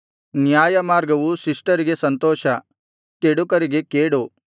ನ್ಯಾಯಮಾರ್ಗವು ಶಿಷ್ಟರಿಗೆ ಸಂತೋಷ ಕೆಡುಕರಿಗೆ ಕೇಡು